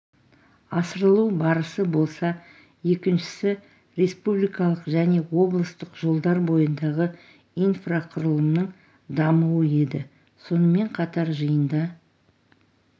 асырылу барысы болса екіншісі республикалық және облыстық жолдар бойындағы инфрақұрылымның дамуы еді сонымен қатар жиында